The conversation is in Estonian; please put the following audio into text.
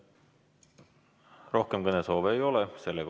Rohkem kõnesoove ei ole.